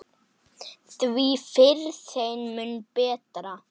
Því fyrr, þeim mun betra.